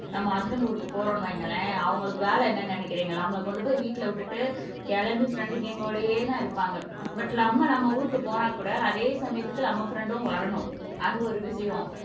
நம்ம ஹஸ்பன்ட் ஊருக்கு போறோம்னு வைங்களேன் அவங்களுக்கு வேலை என்னன்னு நினைக்கிறீங்க நம்மள கொண்டு போய் வீட்ல விட்டுட்டு கிளம்பி ஃப்ரெண்டு கேங்கோடையே தான் இருப்பாங்க பட் நம்ம நம்ம ஊருக்கு போனா கூட அதே சமயத்துக்கு நம்ம ஃப்ரண்டும் வரணும் அது ஒரு விஷயம்